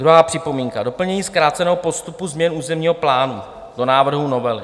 Druhá připomínka: doplnění zkráceného postupu změn územního plánu do návrhu novely.